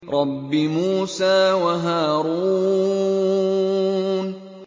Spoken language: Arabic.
رَبِّ مُوسَىٰ وَهَارُونَ